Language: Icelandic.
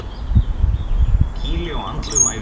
Kýli á andlegum æfingum.